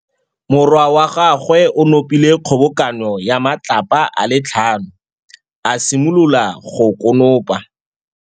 Morwa wa gagwe o nopile kgobokanô ya matlapa a le tlhano, a simolola go konopa.